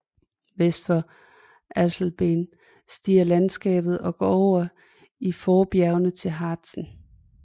Vest for Alsleben stiger landskabet og går over i forbjergene til Harzen